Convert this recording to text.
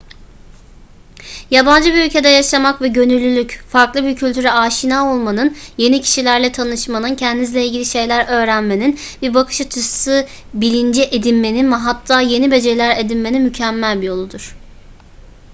yabancı bir ülkede yaşamak ve gönüllülük farklı bir kültüre aşina olmanın yeni kişilerle tanışmanın kendinizle ilgili şeyler öğrenmenin bir bakış açısı bilinci edinmenin ve hatta yeni beceriler edinmenin mükemmel bir yoludur